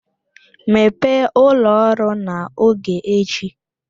Mepee ụlọ ọrụ n'oge echi!